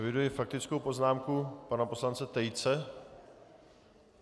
Eviduji faktickou poznámku pana poslance Tejce.